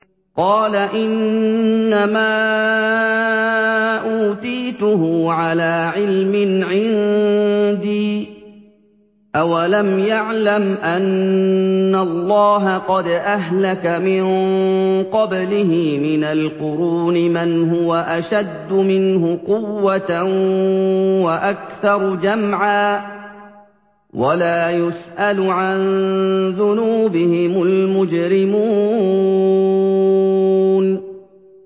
قَالَ إِنَّمَا أُوتِيتُهُ عَلَىٰ عِلْمٍ عِندِي ۚ أَوَلَمْ يَعْلَمْ أَنَّ اللَّهَ قَدْ أَهْلَكَ مِن قَبْلِهِ مِنَ الْقُرُونِ مَنْ هُوَ أَشَدُّ مِنْهُ قُوَّةً وَأَكْثَرُ جَمْعًا ۚ وَلَا يُسْأَلُ عَن ذُنُوبِهِمُ الْمُجْرِمُونَ